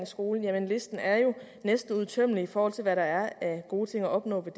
skolen jamen listen er jo næsten uudtømmelig i forhold til hvad der er af gode ting at opnå ved